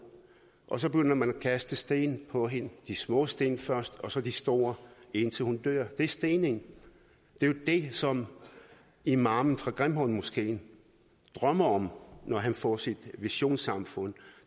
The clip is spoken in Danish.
og så begynder man at kaste sten på hende de små sten først og så de store indtil hun dør det er stening det er jo det som imamen fra grimhøjmoskeen drømmer om når han får sit visionssamfund